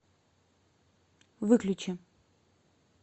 выключи